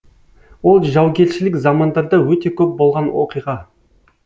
ол жаугершілік замандарда өте көп болған оқиға